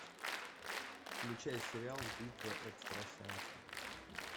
включай сериал битва экстрасенсов